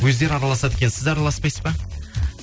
өздері араласады екен сіз араласпайсыз ба